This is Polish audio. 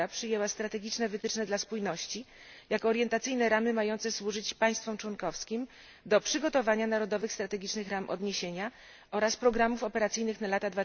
Rada przyjęła strategiczne wytyczne dla spójności, jako orientacyjne ramy mające służyć państwom członkowskim do przygotowania narodowych strategicznych ram odniesienia oraz programów operacyjnych na lata